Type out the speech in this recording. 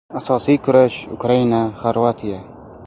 Asosiy kurash: Ukraina Xorvatiya.